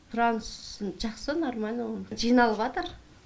сұранысын жақсы нормально оның жиналыватыр